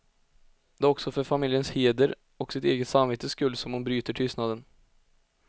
Det är också för familjens heder och sitt eget samvetes skull som hon bryter tystnaden.